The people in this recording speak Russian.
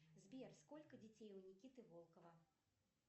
сбер сколько детей у никиты волкова